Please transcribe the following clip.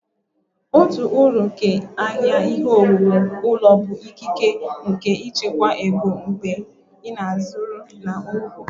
Otu uru nke ahịa ihe owuwu ụlọ bụ ikike nke ịchekwa ego mgbe ị na-azụrụ na nnukwu